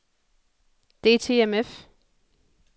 DTMF